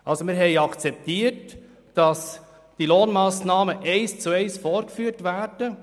Wir haben also akzeptiert, dass die Lohnmassnahmen eins zu eins vorgeführt werden.